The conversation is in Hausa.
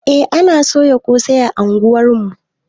Eh ana soya ƙosai a unguwar mu